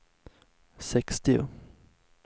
sextio